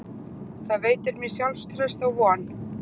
Það veitir mér sjálfstraust og von.